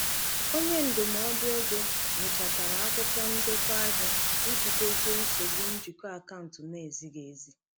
Onye ndụmọdụ ego nyochachara akwụkwọ ndekọ ahịa iji dozie nsogbu njikọ akaụntụ na-ezighị ezi.